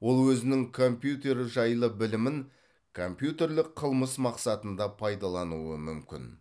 ол өзінің компьютер жайлы білімін компьютерлік қылмыс мақсатында пайдалануы мүмкін